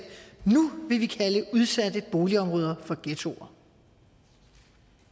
nu vil vi kalde udsatte boligområder for ghettoer